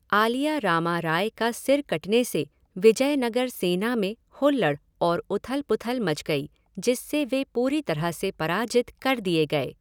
आलिया रामा राय का सिर कटने से विजयनगर सेना में हुल्लड़ और उथल पुथल मच गई जिससे वे पूरी तरह से पराजित कर दिए गए।